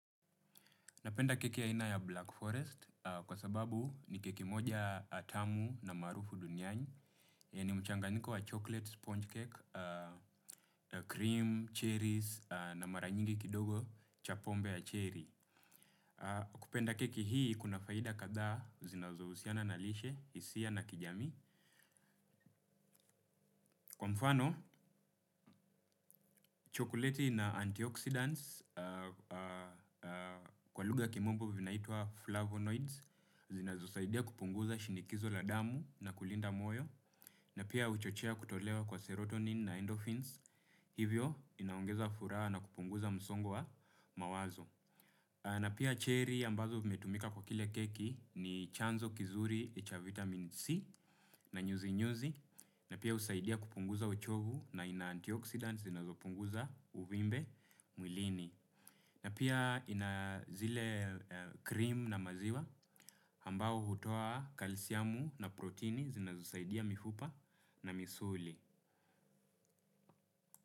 Napenda keki ya aina ya Black Forest kwa sababu ni keki moja tamu na maarufu duniani yenye mchanganyiko wa chocolate sponge cake, cream, cherries na mara nyingi kidogo cha pombe ya cherry. Kupenda keki hii kuna faida kadhaa zinazohusiana na lishe, hisia na kijamii. Kwa mfano, chokoleti na antioxidants kwa lugha ya kimombo vinaitwa flavonoids zinazosaidia kupunguza shinikizo la damu na kulinda moyo. Na pia huchochea kutolewa kwa serotonin na endorphins, hivyo inaongeza furaha na kupunguza msongo wa mawazo. Na pia cherry ambazo vimetumika kwa kile keki ni chanzo kizuri cha vitamin C na nyuzi nyuzi. Na pia husaidia kupunguza uchovu na ina antioxidant zinazopunguza uvimbe mwilini. Na pia ina zile cream na maziwa ambao hutoa kalsiamu na protini zinazosaidia mifupa na misuli.